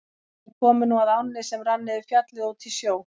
Þeir komu nú að ánni sem rann niður Fjallið og út í sjó.